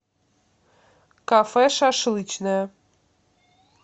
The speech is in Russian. кафе шашлычная